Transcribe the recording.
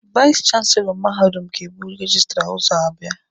Vais chanselọ mahadum ga-ebu rejistra ụzọ abịa.